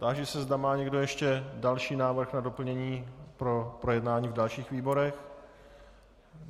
Táži se, zda má někdo ještě další návrh na doplnění pro projednání v dalších výborech.